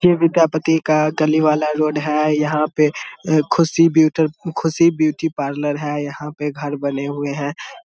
ये विद्यापति का गली वाला रोड हैं यहाँ पे Khushi beauty Khushi beauty parlour है यहाँ पे घर बने हुए हैं ।